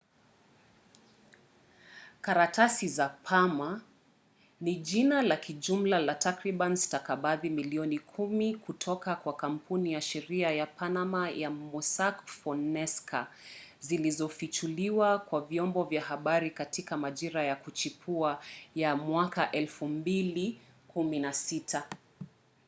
"karatasi za panama ni jina la kijumla la takriban stakabadhi milioni kumi kutoka kwa kampuni ya sheria ya panama ya mossack fonseca zilizofichuliwa kwa vyombo vya habari katika majira ya kuchipua ya 2016